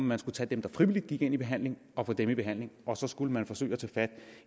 man skulle tage dem der frivilligt gik i behandling og få dem i behandling og så skulle forsøge at tage fat